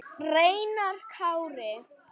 Reynar Kári.